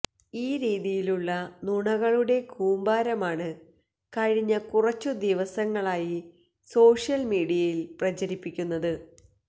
ഈ രീതിയിലുള്ള നുണകളുടെ കൂമ്പാരമാണ് കഴിഞ്ഞ കുറച്ചു ദിവസങ്ങളായി സോഷ്യൽ മീഡിയയിൽ പ്രചരിപ്പിക്കുന്നത്